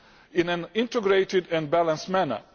in an integrated and balanced manner